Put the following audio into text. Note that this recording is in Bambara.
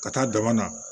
Ka taa dama